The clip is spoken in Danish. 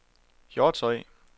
Hjortshøj